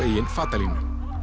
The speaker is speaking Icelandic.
fatalínu